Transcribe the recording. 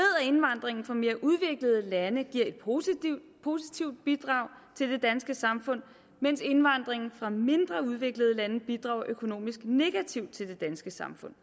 indvandringen fra mere udviklede lande giver et positivt positivt bidrag til det danske samfund mens indvandringen fra mindre udviklede lande bidrager økonomisk negativt til det danske samfund